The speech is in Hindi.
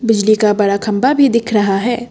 बिजली का बड़ा खंबा भी दिख रहा है।